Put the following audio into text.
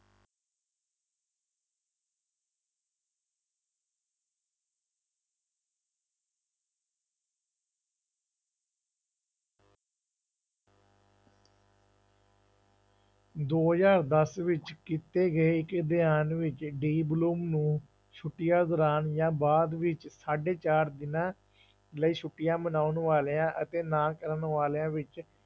ਦੋ ਹਜ਼ਾਰ ਦਸ ਵਿੱਚ ਕੀਤੇ ਗਏ ਇੱਕ ਅਧਿਐਨ ਵਿੱਚ ਡੀਬਲੋਮ ਨੂੰ ਛੁੱਟੀਆਂ ਦੌਰਾਨ ਜਾਂ ਬਾਅਦ ਵਿੱਚ ਸਾਢੇ ਚਾਰ ਦਿਨਾਂ ਲਈ ਛੁੱਟੀਆਂ ਮਨਾਉਣ ਵਾਲਿਆਂ ਅਤੇ ਨਾ ਕਰਨ ਵਾਲਿਆਂ ਵਿੱਚ